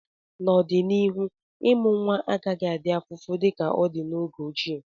n'ọdịnihu, ịmụ nwa agaghị adị afụfụ dịka ọ dị na oge ochie